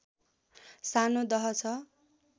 सानो दह छ